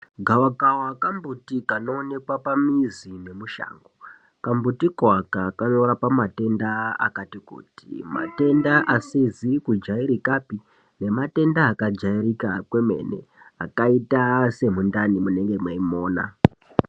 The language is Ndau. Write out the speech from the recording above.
Gavakawa kambuti kanoonekwa pamizi nemushango .Kambutiko aka kanorapa matenda akati kuti , matenda asizi kujairikapi nematenda akajairika kwemene akaita semundani munenge mweimona .